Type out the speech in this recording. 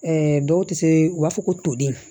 dɔw tɛ se u b'a fɔ ko toden